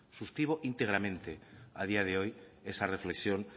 suscribo íntegramente a día de hoy esa reflexión